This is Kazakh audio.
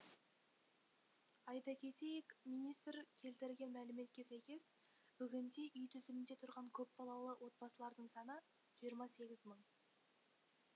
айта кетейік министр келтірген мәліметке сәйкес бүгінде үй тізімінде тұрған көпбалалы отбасылардың саны жиырма сегіз мың